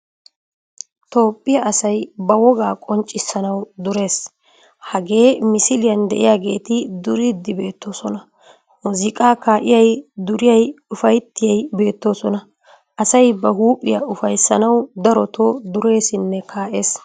Toophphiyaa asay ba wogaa qonccissanawu durees. Hagee misiliyaan de'iyogeeti duriidi beettoosona. Muuzziiqqaa ka"iyay duriyay ufayttiyay beettoosona. Asay ba huphphiyaa ufayssanawu darottoo dureesinne ka"ees.